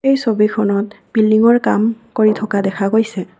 এই ছবিখনত বিল্ডিংৰ কাম কৰি থকা দেখা গৈছে।